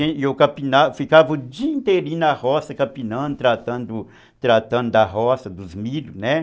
E eu campina, ficava o dia inteirinho na roça, capinando, tratando da roça, dos milhos, né?